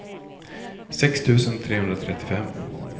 sex tusen trehundratrettiofem